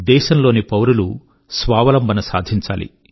దేశం లోని పౌరులు స్వావలంబన సాధించాలి